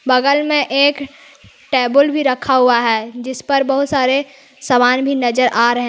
बगल में एक टेबल भी रखा हुआ है जिस पर बहुत सारे सामान भी नजर आ रहे--